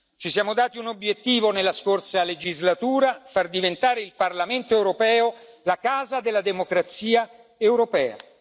Ci siamo dati un obiettivo nella scorsa legislatura far diventare il Parlamento europeo la casa della democrazia europea.